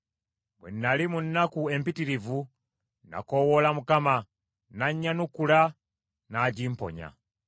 Bwe nnali mu nnaku empitirivu, nakoowoola Mukama , n’annyanukula, n’agimponya.